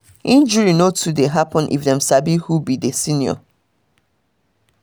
injury no too dey happen if dem sabi who be be senior